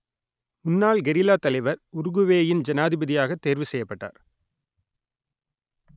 முன்னாள் கெரில்லா தலைவர் உருகுவேயின் ஜனாதிபதியாகத் தேர்வு செய்யப்பட்டார்